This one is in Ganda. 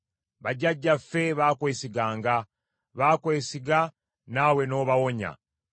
Bajjajjaffe baakwesiganga; baakwesiga naawe n’obawonya.